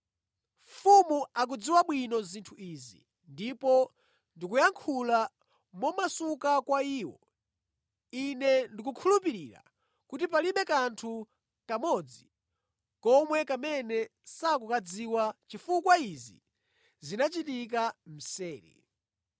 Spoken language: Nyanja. Mfumu ikuzidziwa bwino zinthu izi, ndipo ndikuyankhula momasuka kwa iyo. Ine ndikukhulupirira kuti palibe kanthu nʼkamodzi komwe kamene sukukadziwa, chifukwa izi sizinachike mseri.